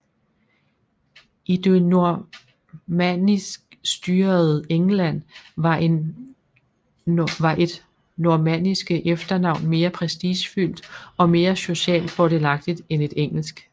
I det normanniskstyrede England var et normanniske efternavn mere prestigefyldt og mere socialt fordelagtigt end et engelsk